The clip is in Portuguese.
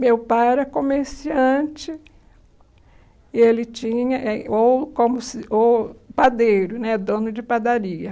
Meu pai era comerciante, e ele tinha, eh ou como ou padeiro, né, dono de padaria.